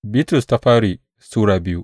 daya Bitrus Sura biyu